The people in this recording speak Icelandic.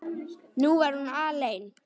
Nú var hún alein.